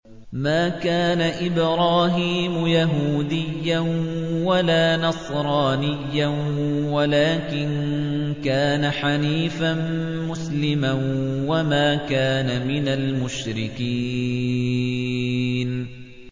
مَا كَانَ إِبْرَاهِيمُ يَهُودِيًّا وَلَا نَصْرَانِيًّا وَلَٰكِن كَانَ حَنِيفًا مُّسْلِمًا وَمَا كَانَ مِنَ الْمُشْرِكِينَ